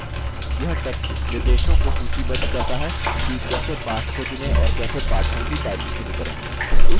यह text निर्देशों को सूचीबद्ध करता है कि कैसे पाठ को चुनें और कैसे पाठों की typing शुरू करें